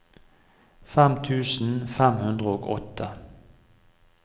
fem tusen fem hundre og åtte